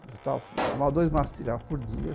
Fumava dois maços de cigarro por dia.